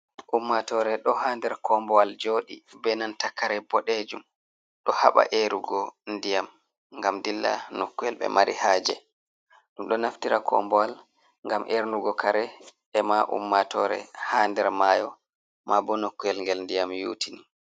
Ummatore ɗo ha nder kombowal joɗi be nanta kare boɗejum, ɗo haɓa erugo ndiyam ngam dilla nokkuyel ɓe mari haje, ɗum ɗo naftira kombowal ngam ernugo kare ema ummatore ha nder mayo, ma bo nokkowel ngel ndiyam yuutini.